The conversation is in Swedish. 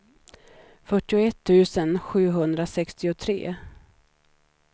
fyrtioett tusen sjuhundrasextiotre